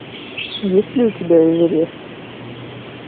есть ли у тебя эверест